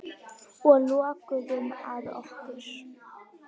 Og lokuðum að okkur.